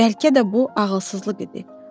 Bəlkə də bu ağılsızlıq idi.